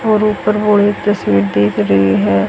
और ऊपर वो एक तस्वीर दिख रही है।